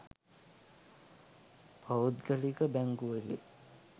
පෞද්ගලික බැංකුවකි.